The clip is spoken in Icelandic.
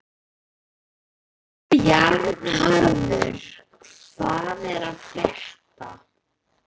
Bjarnharður, hvað er að frétta?